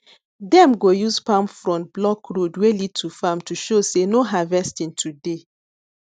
dem go use palm frond block road wey lead to farm to show say no harvesting today